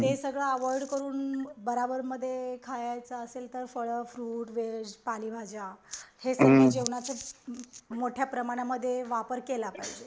ते सगळ अवोईड करून बराबरमध्ये खायचं असेल तर फळ फ्रूट व्हेज पालेभाज्या हे सगळ जेवनाच मोठ्याप्रमाणातमध्ये वापर केला पाहिजे